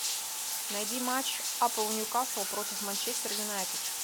найди матч апл ньюкасл против манчестер юнайтед